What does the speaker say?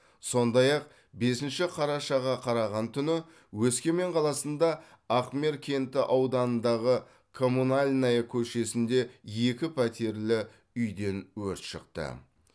сондай ақ бесінші қарашаға қараған түні өскемен қаласында ахмер кенті ауданындағы коммунальная көшесінде екіпәтерлі үйден өрт шықты